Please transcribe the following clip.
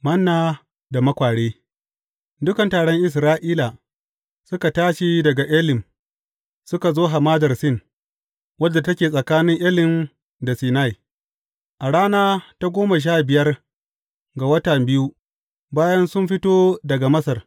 Manna da makware Dukan taron Isra’ila suka tashi daga Elim suka zo hamadar Sin, wadda take tsakanin Elim da Sinai, a rana ta goma sha biyar ga wata biyu, bayan sun fito daga Masar.